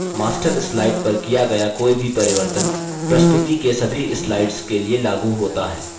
master slide पर किया गया कोई भी परिवर्तन प्रस्तुति के सभी slides के लिए लागू होता है